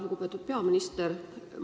Lugupeetud peaminister!